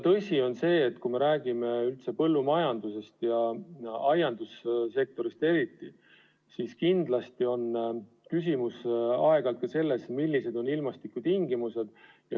Tõsi on ka see, et kui me räägime üldse põllumajandusest ja aiandussektorist eriti, siis kindlasti on küsimus ka selles, millised on ilmastikutingimused.